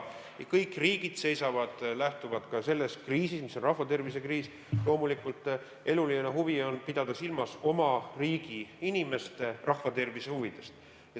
Kõik riigid lähtuvad ka selles kriisis, mis on rahvatervise kriis, sellest, et loomulikult eluline huvi on pidada silmas oma riigi inimeste tervise huve.